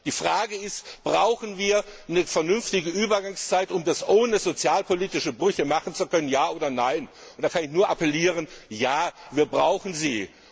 Die Frage ist Brauchen wir eine vernünftige Übergangszeit, um das ohne sozialpolitische Brüche machen zu können, Ja oder Nein? Und da kann ich nur appellieren Ja, wir brauchen sie.